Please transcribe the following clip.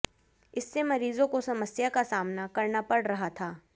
इससे मरीजों को समस्या का सामना करना पड़ रहा था